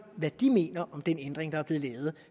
hvad de mener om den ændring der er blev lavet